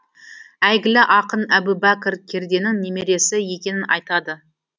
әйгілі ақын әбубәкір керденің немересі екенін айтады